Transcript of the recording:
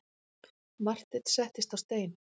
Marteinn settist á stein.